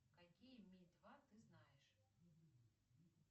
какие ми два ты знаешь